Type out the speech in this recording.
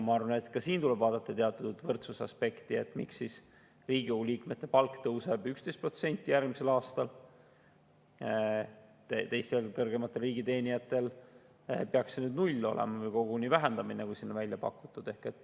Ma arvan, et ka siin tuleb vaadata teatud võrdsuse aspekti, et miks Riigikogu liikmete palk tõuseb 11% järgmisel aastal, teistel kõrgematel riigiteenijatel peaks see 0 olema või koguni vähendamine, nagu siin on välja pakutud.